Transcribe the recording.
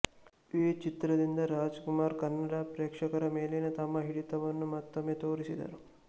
ಈ ಚಿತ್ರದಿಂದ ರಾಜ್ ಕುಮಾರ್ ಕನ್ನಡ ಪ್ರೇಕ್ಷಕರ ಮೇಲಿನ ತಮ್ಮ ಹಿಡಿತವನ್ನು ಮತ್ತೊಮ್ಮೆ ತೋರಿಸಿದರು